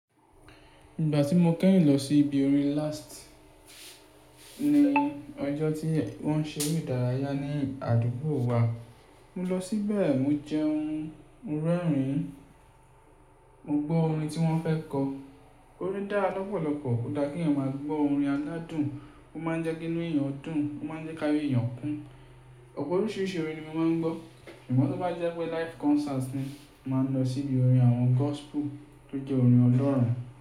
Ìgbà tí mo kẹ́yìn lọ sí ibi orin last ní ọjọ́ tí wọ́n ń ṣe eré ìdárayá ní àdúgbò wa. Mo lọ síbẹ̀, mo jẹun, mo rẹ́rìn-ín, mo gbọ́ orin tí wọ́n fẹ́ kọ. Orin dá lọ́pọ̀lọpọ̀. Ó dá kí èèyàn máa gbọ́ orin aládùn, ó máa ń jẹ́ kíkún èèyàn dùn, ó máa ń jẹ́ káyé èèyàn kún. Ọ̀pọ̀ oríṣiríṣi orin ni mo máa ń gbọ́. Ṣùgbọ́n tí mo bá jẹ́ pé live concert ni, màá lọ sí ibi orin àwọn gospel tó jẹ́ orin Ọlọ́run.